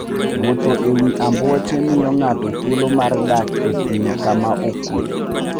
Wuotho e wi ambuoche miyo ng'ato thuolo mar dak e thim kama okuwe.